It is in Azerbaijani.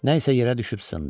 Nə isə yerə düşüb sındı.